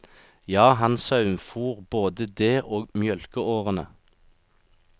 Ja, han saumfor både det og mjølkeårene.